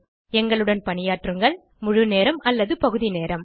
எங்களுடன் பணியாற்றுங்கள் முழு நேரம் அல்லது பகுதி நேரம்